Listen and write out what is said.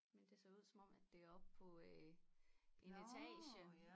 Men det ser ud som om at det er oppe på øh en etage